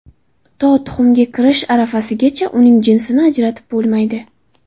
To tuxumga kirish arafasigacha uning jinsini ajratib bo‘lmaydi.